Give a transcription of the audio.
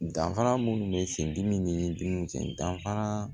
Danfara minnu bɛ sendidimi ni dimiw cɛ danfara